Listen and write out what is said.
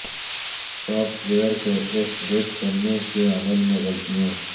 soft where کو update کرنے کے عمل میں غلطیوں